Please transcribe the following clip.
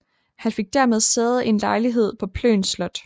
Han fik dermed sæde i en lejlighed på Plön Slot